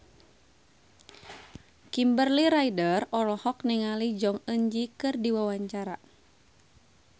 Kimberly Ryder olohok ningali Jong Eun Ji keur diwawancara